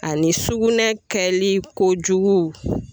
Ani sukunɛ kɛli kojugu.